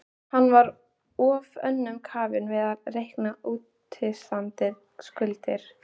Hann var of önnum kafinn við að reikna útistandandi skuldir.